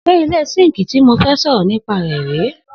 se ile sinki to mofe soro ni pa re re